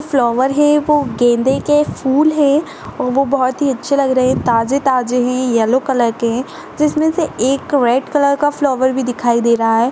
फ्लावर है वो गेंदे के फूल हैं और वो बहोत ही अच्छे लग रहे हैं ताजे ताजे हैं येल्लो कलर के हैं जिसमें से एक रेड कलर का फ्लावर भी दिखाई दे रहा है।